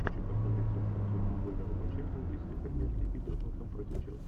хочу посмотреть трансляцию футбольного матча английской премьер лиги тоттенхэм против челси